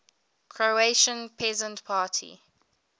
croatian peasant party